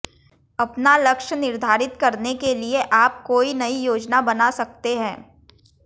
अपना लक्ष्य निर्धारित करने के लिए आप कोई नई योजना बना सकते हैं